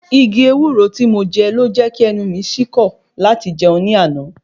Igi ewúro tí mo je ló jẹ́ kí ẹnu mi sí kọ́ láti jẹun ní àná